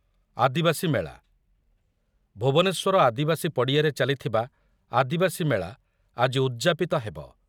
ଆଦିବାସୀ ମେଳା, ଭୁବନେଶ୍ୱର ଆଦିବାସୀ ପଡ଼ିଆରେ ଚାଲିଥିବା ଆଦିବାସୀ ମେଳା ଆଜି ଉଦ୍‌ଯାପିତ ହେବ ।